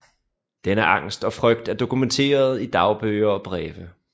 Denne angst og frygt er dokumenteret i dagbøger og breve